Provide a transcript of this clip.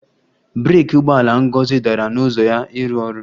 Breeki ụgbọala Ngozi dara n'ụzọ ya ịrụ ọrụ